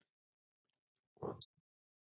Actually